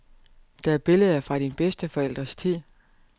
Det er billeder fra dine bedsteforældres tid.